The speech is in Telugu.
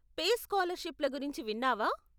పేస్ స్కాలర్షిప్ల గురించి విన్నావా?